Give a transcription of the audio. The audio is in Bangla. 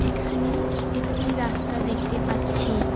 এখানে একটি রাস্তা দেখতে পাচ্ছি।